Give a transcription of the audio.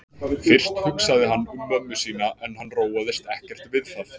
Fyrst hugsaði hann um mömmu sína en hann róaðist ekkert við það.